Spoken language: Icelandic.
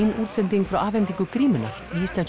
útsendingu frá afhendingu grímunnar íslensku